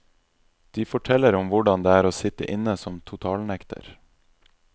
De forteller om hvordan det er å sitte inne som totalnekter.